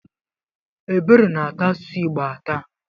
Ebere na-ata asụsụ Igbo atà.